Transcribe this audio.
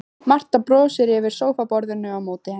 Marta brosir yfir sófaborðinu á móti henni.